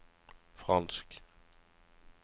fransk